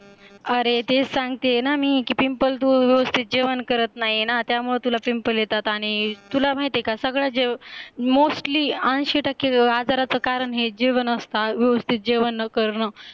अरे ते सांगते ना मी कि PIMPLE तू व्यवस्थित जेवण करत नाही ना त्यामुळे तुला PIMPLE येतात आणि तुला माहितीये का सगळे mostly ऐंशी टक्के आजारचा कारण हे जेवण असत व्यवस्थित जेवण न करणं